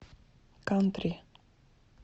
кантри